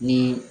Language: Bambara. Ni